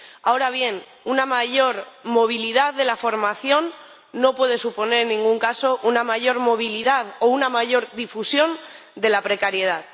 Ahora bien, una mayor movilidad de la formación no puede suponer en ningún caso una mayor movilidad o una mayor difusión de la precariedad.